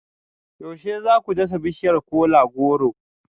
Yaushe za ku dasa bishiyar kola-goro